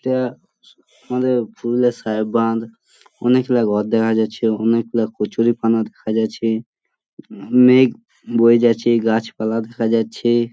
এটা আমাদের পুরুলিয়ার সাহেব বাঁধ । অনেক গুলা ঘর দেখা যাচ্ছে অনেক গুলা কচুরিপানা দেখা যাচ্ছে উম মেঘ বয়ে যাচ্ছে গাছপালা দেখা যাচ্ছে।